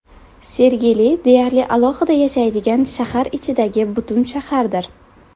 Sergeli deyarli alohida yashaydigan shahar ichidagi butun shahardir.